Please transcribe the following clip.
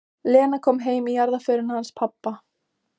Lena kom heim í jarðarförina hans pabba.